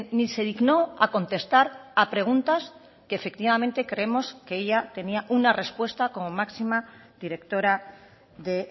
ni se dignó a contestar a preguntas que efectivamente creemos que ella tenía una respuesta como máxima directora de